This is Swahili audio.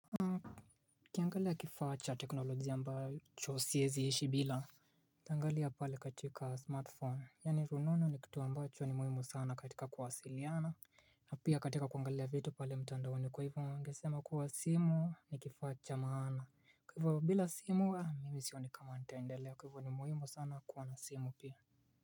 Nikangalia kifaa cha teknolojia ambacho siezi ishi bila ukiangalia pale katika smartphone, yaani rununu ni kitu ambacho ni muhimu sana katika kuwasiliana na pia katika kuangalia vitu pale mtandaoni kwa hivyo ningesema kuwa simu ni kifaa cha maana Kwa hivyo bila simu, mimi sioni kama nitaendelea kwa hivyo ni muhimu sana kuwa na simu pia.